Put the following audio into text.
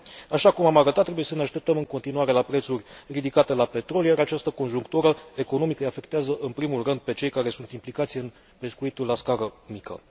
Așa cum am arătat, trebuie să ne așteptăm în continuare la prețuri ridicate la petrol, iar această conjunctură economică îi afectează în primul rând pe cei care sunt implicați în pescuitul la scară mică.